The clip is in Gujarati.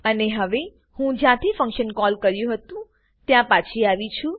અને હવે હું જ્યાંથી ફંક્શન કોલ કર્યું હતું ત્યાં પાછી આવી છુ